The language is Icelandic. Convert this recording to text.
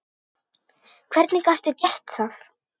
Hvernig gastu gert það?!